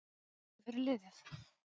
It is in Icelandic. Gerir þetta stig eitthvað fyrir liðið?